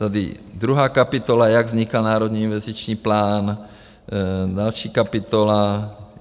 Tady druhá kapitola, jak vznikal Národní investiční plán, další kapitola.